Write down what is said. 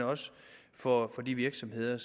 for og for de virksomheder